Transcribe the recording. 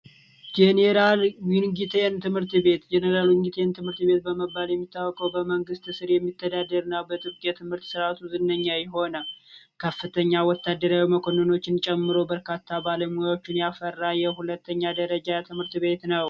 ጄኔራል ትምህርት ቤት ጀነራል ትምህርት በመባል የሚታወቀ ስር የሚተዳደር ነው ዝነኛ ይሆናል ከፍተኛ ወታደራችን ጨምሮ በርካታ ባለሙያዎችን ያፈራ የሁለተኛ ደረጃ ትምህርት ቤት ነው